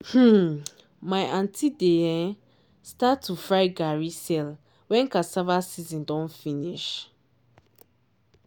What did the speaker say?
um my aunty dey um start to fry garri sell wen cassava season don finish.